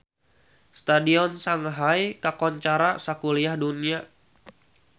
Stadion Shanghai kakoncara sakuliah dunya